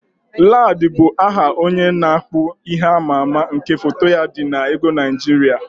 Ladi bụ aha onye na-akpụ ihe amaama nke foto ya dị n'ego Naịjirịa.